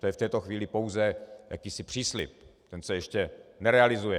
To je v této chvíli pouze jakýsi příslib, ten se ještě nerealizuje.